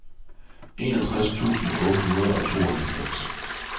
enogtres tusind otte hundrede og tooghalvfems